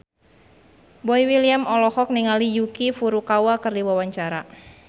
Boy William olohok ningali Yuki Furukawa keur diwawancara